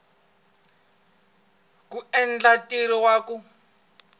ku endla ntirho wa ku